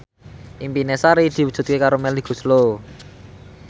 impine Sari diwujudke karo Melly Goeslaw